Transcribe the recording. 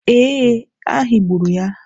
Ee, a higburu ya.